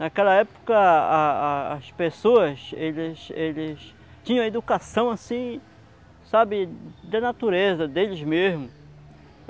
Naquela época a a a as pessoas eles eles tinham a educação assim, sabe, da natureza, deles mesmos.